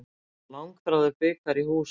Langþráður bikar í hús